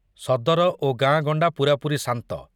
ସଦର ଓ ଗାଁଗଣ୍ଡା ପୂରାପୂରି ଶାନ୍ତ।